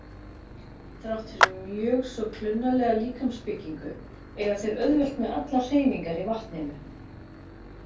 Þrátt fyrir mjög svo klunnalega líkamsbyggingu eiga þeir auðvelt með allar hreyfingar í vatninu.